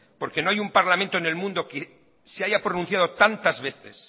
porque no hay un parlamento en el mundo que se haya pronunciado tantas veces